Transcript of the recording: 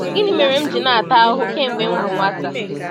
Gịnị mere m ji na-ata ahụhụ kemgbe m bụ nwata?